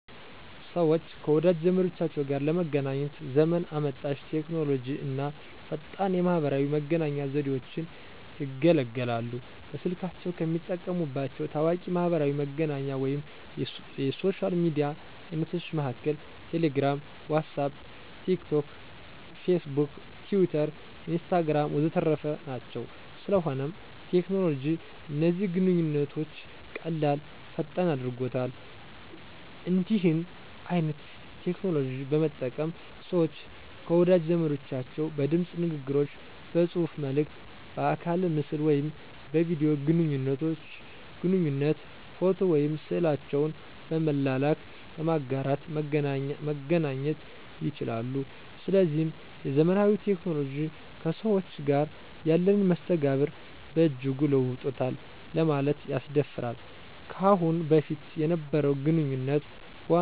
ሰወች ከወዳጅ ዘመዶቻቸው ጋር ለመገናኘት ዘመን አመጣሽ ቴክኖሎጂ አና ፈጣን የማህበራዊ መገናኛ ዘዴወችን ይገለገላሉ። በስልካቸው ከሚጠቀሙባቸው ታዋቂ የማሕበራዊ መገናኛ ወይም የሶሻል ሚዲያ አይነቶች መሀከል ቴሌግራም፣ ዋትስአፕ፣ ቲክ ቶክ፣ ፌስቡክ፣ ቲዊተር፣ ኢንስታግራም ወዘተረፈ ናቸው። ስለሆነም ቴክኖሎጂ እነዚህን ግንኙነቶች ቀላል፥ ፈጣን አድርጎታል። እንዲህን አይነት ቴክኖሎጂዎች በመጠቀም ሰወች ከወዳጅ ዘመዶቻቸው በድምጽ ንግግሮች፥ በጽሁፋ መልክት፥ በአካለ ምስል ወይም በቪዲዮ ግንኙነት፥ ፎቶ ወይም ስዕላቸውን በመላላክ፣ በማጋራት መገናኘት ይቻላሉ። ስለዚህም የዘመናዊ ቴክኖሎጂዎች ከሰዎች ጋር ያለንን መስተጋብር በእጅጉ ለውጦታል ለማለት ያስደፍራል። ከአሁን በፊት የነበረው ግንኙነት በዋናነት በአይነ ስጋ በመገናኘት ነበር በአሁኑ ዘመን ግን ይኸን ነገር አየተቀየረ መጧል።